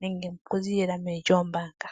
nenge oku ziilila meni lyoombaanga.